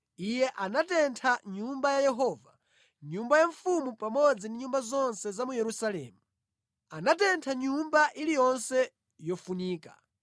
Iye anatentha Nyumba ya Yehova, nyumba ya mfumu pamodzi ndi nyumba zonse za mu Yerusalemu. Anatentha nyumba iliyonse yofunika.